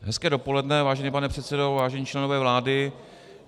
Hezké dopoledne, vážený pane předsedo, vážení členové vlády.